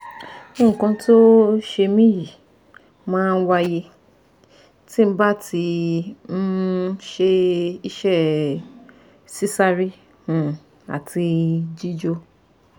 nkan ti o se mi yi ma waye tí ba ti um se ise (sisare um ati jijo)